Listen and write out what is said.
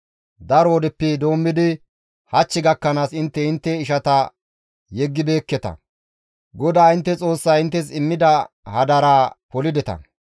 Daro wodeppe doommidi hach gakkanaas intte intte ishata yeggibeekketa; GODAA intte Xoossay inttes immida hadaraa polideta.